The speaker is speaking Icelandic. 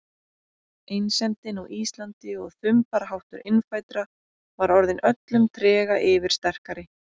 Einsemdin á Íslandi og þumbaraháttur innfæddra var orðin öllum trega yfirsterkari.